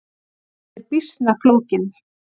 Hann er býsna flókinn.